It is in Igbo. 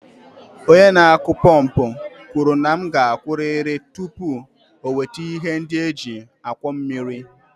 Onye na-akụ pọmpụ kwuru na m ga-akwụrịrị tupu o weta ihe ndị e ji akwọ mmiri.